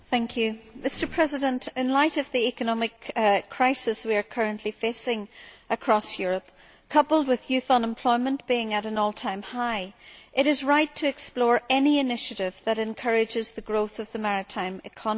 Mr President, in light of the economic crisis we are currently facing across Europe, coupled with youth unemployment being at an all time high, it is right to explore any initiative that encourages the growth of the maritime economy.